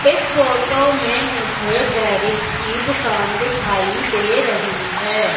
इस फोटो में मुझे गैरेज की दुकान दिखाई दे रही है।